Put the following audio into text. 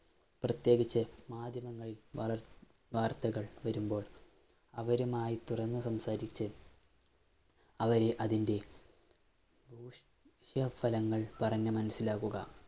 പ്രത്യേകിച്ച് മാധ്യമങ്ങളില്‍ വളര്‍ വാര്‍ത്തകള്‍ വരുമ്പോള്‍ അവരുമായി തുറന്ന് സംസാരിച്ച് അവരെ അതിന്‍റെ ദൂഷ്യ ഫലങ്ങള്‍ പറഞ്ഞ് മനസ്സിലാക്കുക.